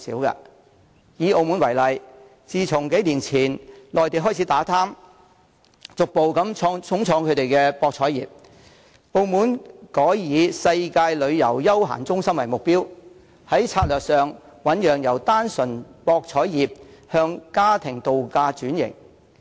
以澳門為例，自數年前內地開始打貪，逐步重創其博彩業後，澳門改以"世界旅遊休閒中心"為目標，在策略上醞釀由單純博彩向家庭度假轉型。